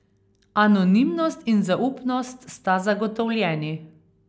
Anonimnost in zaupnost sta zagotovljeni.